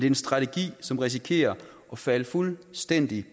en strategi som risikerer at falde fuldstændig